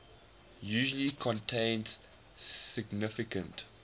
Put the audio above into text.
usually contain significant